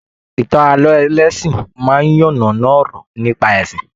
Ìtàn ààlọ́ ẹlẹsin máa n yannana ọ̀rọ̀ nípa ẹsìn.